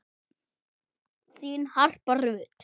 Þín Harpa Rut.